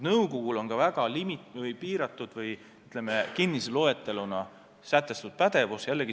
Nõukogul on seaduse kohaselt väga piiratud või, ütleme, kinnise loeteluna sätestatud pädevus.